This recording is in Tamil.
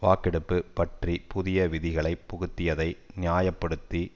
வாக்கெடுப்பு பற்றி புதிய விதிகளை புகுத்தியதை நியாய படுத்தி